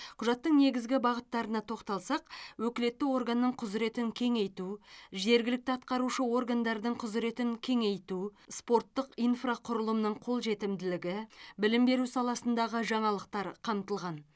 құжаттың негізгі бағыттарына тоқталсақ өкілетті органның құзыретін кеңейту жергілікті атқарушы органдардың құзыретін кеңейту спорттық инфрақұрылымның қолжетімділігі білім беру саласындағы жаңалықтар қамтылған